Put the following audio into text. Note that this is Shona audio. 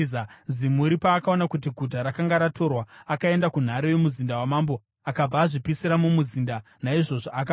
Zimuri paakaona kuti guta rakanga ratorwa, akaenda kunhare yomuzinda wamambo akabva azvipisira mumuzinda. Naizvozvo akafa,